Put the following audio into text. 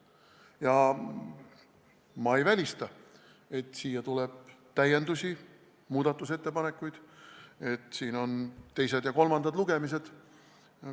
Ja ma ei välista, et siia tuleb täiendusi, muudatusettepanekuid ning et korraldatakse teised ja kolmandad lugemised.